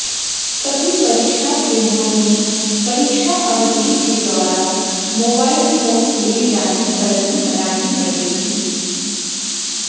सभी परीक्षा केंद्रों में परीक्षा अवधि के दौरान मोबाइल फोनले जाने पर भी मनाही रहेगी